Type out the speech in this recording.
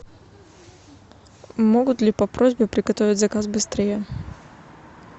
могут ли по просьбе приготовить заказ быстрее